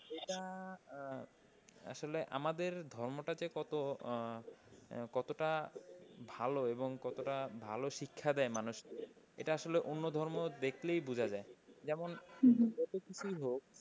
এটা আসলে আমাদের ধর্মটা যে কত কতটা ভালো এবং কতটা ভালো শিক্ষা দেয় মানুষকে এটা আসলে অন্য ধর্ম দেখলেই বুঝা যায়। যেমন যতো কিছুই হোক,